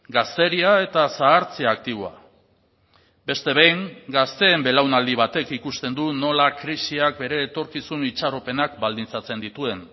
gazteria eta zahartze aktiboa beste behin gazteen belaunaldi batek ikusten du nola krisiak bere etorkizun itxaropenak baldintzatzen dituen